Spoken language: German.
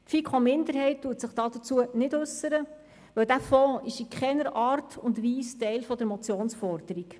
Die FiKo-Minderheit äussert sich dazu nicht, denn dieser Fonds ist in keiner Art und Weise Teil der Motionsforderung.